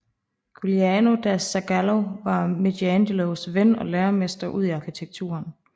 Giuliano da Sangallo var Michelangelos ven og læremester udi arkitekturen